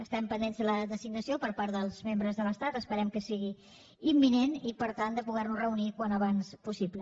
estem pendents de la designació per part dels membres de l’estat esperem que sigui imminent i per tant de poder nos reunir al més aviat possible